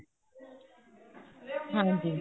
ਹਾਂਜੀ